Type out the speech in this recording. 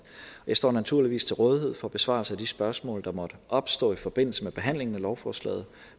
jeg står naturligvis til rådighed for besvarelse af de spørgsmål der måtte opstå i forbindelse med behandlingen af lovforslaget